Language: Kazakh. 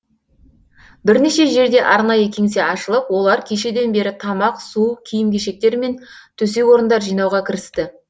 бірнеше жерде арнайы кеңсе ашылып олар кешеден бері тамақ су киім кешектер мен төсек орындар жинауға кірісті